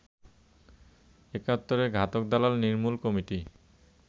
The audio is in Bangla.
একাত্তরের ঘাতক দালাল নির্মূল কমিটি